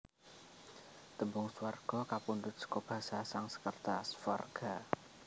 Tembung Swarga kapundhut seka basa Sansekerta Svarga